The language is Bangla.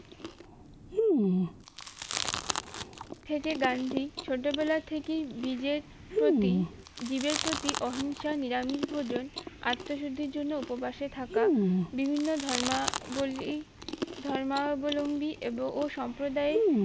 থেকে গান্ধী ছোটো বেলা থেকেই জীবের প্রতি জীবের প্রতি অহিংসা নিরামিষ ভোজন আত্মসিদ্ধির জন্য উপবাসে থাকা বিভিন্ন ধর্মাবলী ধর্মঅবলম্বী এব ও সম্প্রদায়ী